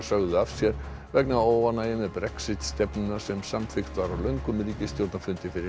sögðu af sér vegna óánægju með Brexit stefnuna sem samþykkt var á löngum ríkisstjórnarfundi fyrir